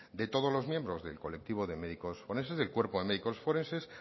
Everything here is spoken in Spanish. de todos los miembros del colectivo de médicos forenses del cuerpo de médicos forenses